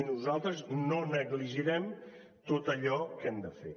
i nosaltres no negligirem tot allò que hem de fer